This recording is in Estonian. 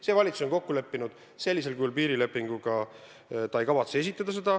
See valitsus on kokku leppinud, et sellisel kujul piirilepingut ta ei kavatse esitada.